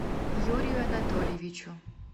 юрию анатольевичу